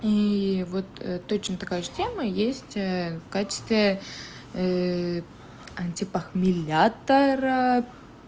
и вот точно такая же тема есть в качестве антипохмелятора